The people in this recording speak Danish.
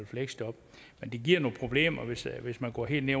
fleksjob men det giver nogle problemer hvis hvis man går helt ned